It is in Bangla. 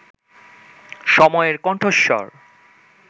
সময়ের কণ্ঠস্বর